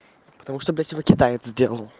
потому что блядь его китай сделал